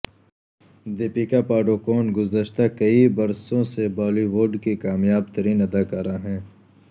دیپیکا پاڈوکون گذشتہ کئی برسوں سے بالی وڈ کی کامیاب ترین اداکارہ ہیں